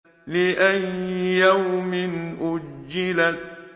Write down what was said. لِأَيِّ يَوْمٍ أُجِّلَتْ